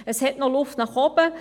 Es gibt noch Luft nach oben.